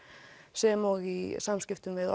sem og í samskiptum við